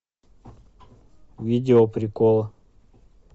видео приколы